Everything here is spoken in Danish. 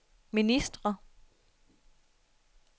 ministre